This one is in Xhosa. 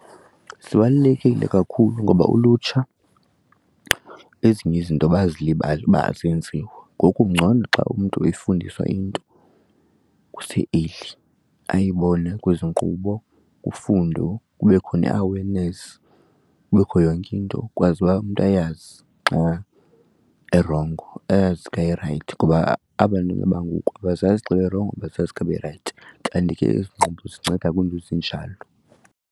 Zibalulekile kakhulu ngoba ulutsha ezinye izinto bazilibala uba azenziwa ngoku ngcono xa umntu eyifundiswa into kuse-early ayibone kwezi nkqubo ufundo kube khona i-awareness kubekho yonke into ukwazi uba umntu ayazi xa erongo, ayazi xa erayithi ngoba aba' ntwana bangoku abazazi xa erongo abazazi xa berayithi kanti ke ezi nkqubo zinceda kwiinto ezinjalo.